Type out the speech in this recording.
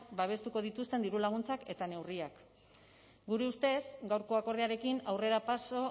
babestuko dituzten dirulaguntzak eta neurriak gure ustez gaurko akordioarekin aurrerapauso